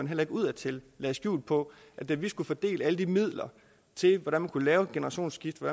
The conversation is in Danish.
heller ikke udadtil lagde skjul på at da vi skulle fordele alle de midler til hvordan man kunne lave et generationsskifte